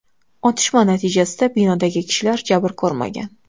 Otishma natijasida binodagi kishilar jabr ko‘rmagan.